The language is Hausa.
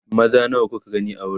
maza nawa kuka gani a wurin